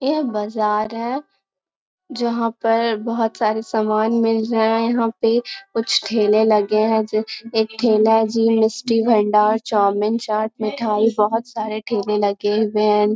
यह बाज़ार है जहाँ पर बहुत सारे सामान मिल रहें हैं। यहाँ पे कुछ ठेले लगे हैं जो एक ठेला जी मिस्टी भंडार चौमिन चाट मिठाई बहुत सारे ठेले लगे हुए हैं।